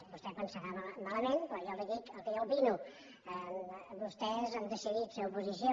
vostè pensarà malament però jo li dic el que jo opino vostès han decidit ser oposició